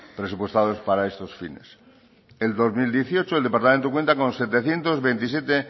presupuestados para estos fines el dos mil dieciocho el departamento cuenta con setecientos veintisiete